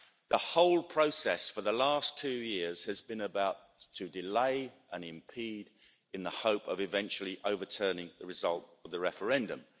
The whole process for the last two years has been about to delay and impede in the hope of eventually overturning the result of the referendum.